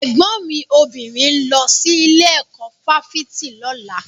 Ẹ̀gbọ́n mi obìnrin ń lọ sí ilé ẹ̀kọ́ fáfitì lọ́la.